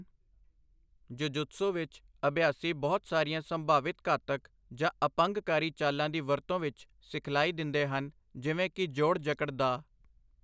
Jujutsu ਵਿੱਚ, ਅਭਿਆਸੀ ਬਹੁਤ ਸਾਰੀਆਂ ਸੰਭਾਵਿਤ ਘਾਤਕ ਜਾਂ ਅਪੰਗਕਾਰੀ ਚਾਲਾਂ ਦੀ ਵਰਤੋਂ ਵਿੱਚ ਸਿਖਲਾਈ ਦਿੰਦੇ ਹਨ, ਜਿਵੇਂ ਕਿ ਜੋੜ ਜਕੜ ਦਾਅ।